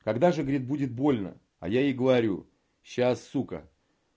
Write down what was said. когда же говорит будет больно а я ей говорю сейчас сука